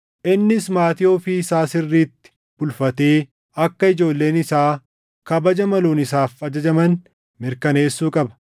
Innis maatii ofii isaa sirriitti bulfatee akka ijoolleen isaa kabaja maluun isaaf ajajaman mirkaneessuu qaba.